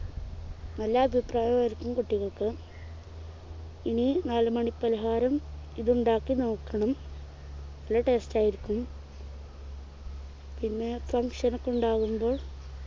നല്ല അഭിപ്രായമായിരിക്കും കുട്ടികൾക്ക് ഇനി നാലുമണി പലഹാരം ഇതുണ്ടാക്കി നോക്കണം നല്ല taste ആയിരിക്കും പിന്നെ function ഒക്കെ ഉണ്ടാകുമ്പോൾ